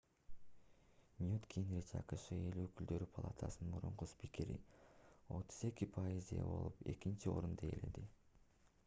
ньют гингрич акшнын эл өкүлдөр палатаcынын мурунку спикери 32% ээ болуп экинчи орунду ээледи